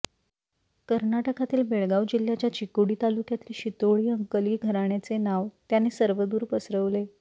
कर्नाटकातील बेळगाव जिल्हय़ाच्या चिकोडी तालुक्यातील शितोळे अंकली घराण्याचे नाव त्याने सर्वदूर पसरवले